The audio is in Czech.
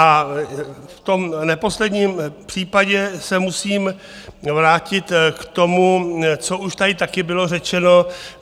A v tom neposledním případě se musím vrátit k tomu, co už tady také bylo řečeno.